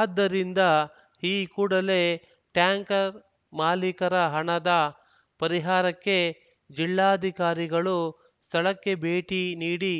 ಆದ್ದರಿಂದ ಈ ಕೂಡಲೇ ಟ್ಯಾಂಕರ್‌ ಮಾಲೀಕರ ಹಣದ ಪರಿಹಾರಕ್ಕೆ ಜಿಲ್ಲಾಧಿಕಾರಿಗಳು ಸ್ಥಳಕ್ಕೆ ಭೇಟಿ ನೀಡಿ